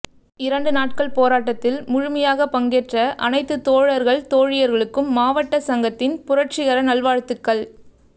இரண்டு நாட்கள் போராட்டத்தில் முழுமையாக பங்கேற்ற அனைத்து தோழர்கள் தோழியர்களுக்கும் மாவட்ட சங்கத்தின் புரட்சிகர நல்வாழ்த்துக்கள்